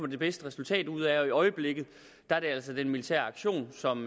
det bedste resultat ud af og i øjeblikket er det altså den militære aktion som